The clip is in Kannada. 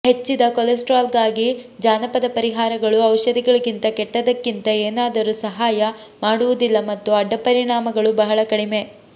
ಹೆಚ್ಚಿದ ಕೊಲೆಸ್ಟ್ರಾಲ್ಗಾಗಿ ಜಾನಪದ ಪರಿಹಾರಗಳು ಔಷಧಿಗಳಿಗಿಂತ ಕೆಟ್ಟದ್ದಕ್ಕಿಂತ ಏನಾದರೂ ಸಹಾಯ ಮಾಡುವುದಿಲ್ಲ ಮತ್ತು ಅಡ್ಡಪರಿಣಾಮಗಳು ಬಹಳ ಕಡಿಮೆ